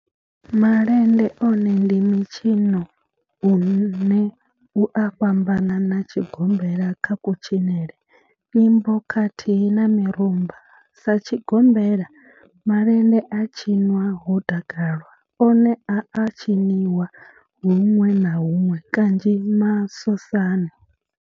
Malende one ndi mitshino une u a fhambana na tshigombela kha kutshinele, nyimbo khathihi na mirumba. Sa tshigombela, malende a tshinwa ho takalwa, one a a tshiniwa hunwe na hunwe kanzhi masosani.